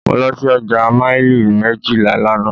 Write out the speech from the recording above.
Mo lọ sí ọjà maili méjìlá lánàá.